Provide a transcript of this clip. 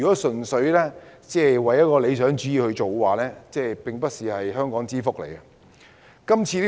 純粹按照理想主義行事，並非香港之福。